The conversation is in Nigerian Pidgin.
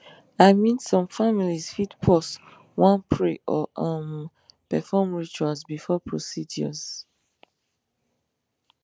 i mean some families fit pause wan pray or um perform rituals before procedures